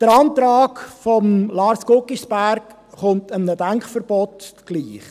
Der Antrag von Lars Guggisberg kommt einem Denkverbot gleich.